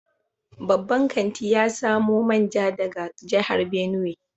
Babban kantin ya samo manja daga jihar Benue.